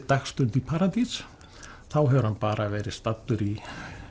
dagsstund í paradís þá hefur hann bara verið staddur í